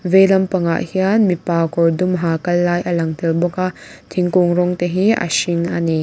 vei lampang ah hian mipa kawr dum ha kal lai a lang tel bawk a thingkung rawng te hi a hring ani.